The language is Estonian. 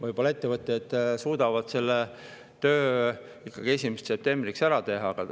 Võib-olla ettevõtjad suudavad selle töö 1. septembriks ikkagi ära teha.